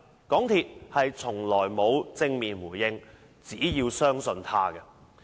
港鐵公司從來沒有正面回應，只叫市民相信它。